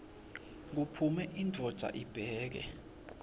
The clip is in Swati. kuphume indvodza ibheke